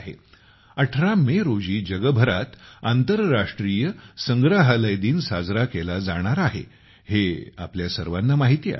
18 मे रोजी जगभरात आंतरराष्ट्रीय संग्रहालय दिन साजरा केला जाणार आहे हे आपल्या सर्वांना माहिती आहे